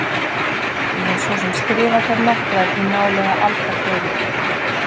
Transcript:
Ég hef svo sem skrifað þær nokkrar í nálega aldarfjórðung.